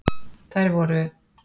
Þær voru: